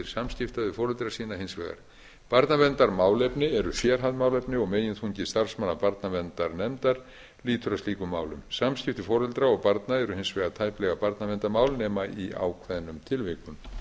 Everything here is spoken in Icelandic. samskipta við foreldra sína hins vegar barnaverndarmálefni eru sérhæfð málefni og meginþungi starfsmanna barnverndarnefnda lýtur að slíkum málum samskipti foreldra og barna eru hins vegar tæplega barnaverndarmál nema í ákveðnum tilvikum